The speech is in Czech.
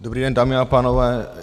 Dobrý den, dámy a pánové.